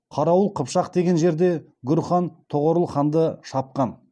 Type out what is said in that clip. қарауыл қыпшақ деген жерде гүр хан тоғорыл ханды шапқан